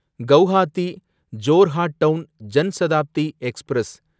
Guwahati Jorhat town Janshatabdi express